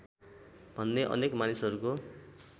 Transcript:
भन्ने अनेक मानिसहरूको